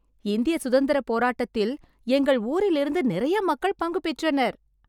இந்திய சுதந்திரப் போராட்டத்தில் எங்கள் ஊரில் இருந்து நிறைய மக்கள் பங்கு பெற்றனர்